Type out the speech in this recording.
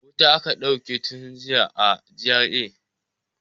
Wuta aka dauke tun jiya a GRA.